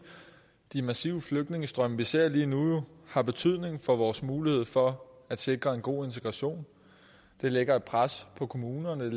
de massive flygtningestrømme vi jo ser lige nu har betydning for vores mulighed for at sikre en god integration det lægger et pres på kommunerne